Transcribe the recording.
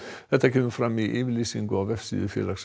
þetta kemur fram í yfirlýsingu á vefsíðu félagsins